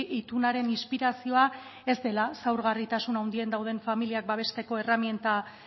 itunaren inspirazioa ez dela zaurgarritasun handian dauden familiak babesteko erreminta